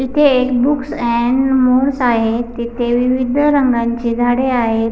इथे एक books and more आहेत तेथे विविध रंगाचे झाडे आहेत.